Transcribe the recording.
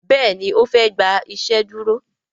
Béèni ofe gbà iṣeduro.